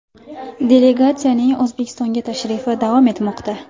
Delegatsiyaning O‘zbekistonga tashrifi davom etmoqda.